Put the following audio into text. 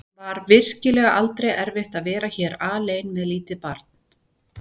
Var virkilega aldrei erfitt að vera hér alein með lítið barn?